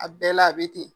A bɛɛ la a bɛ ten